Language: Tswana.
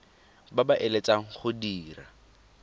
ba ba eletsang go dira